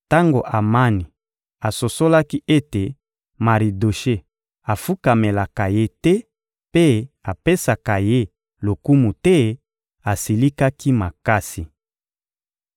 Tango Amani asosolaki ete Maridoshe afukamelaka ye te mpe apesaka ye lokumu te, asilikaki makasi.